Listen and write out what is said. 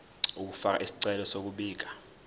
ukufaka isicelo sokubika